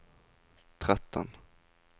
tretten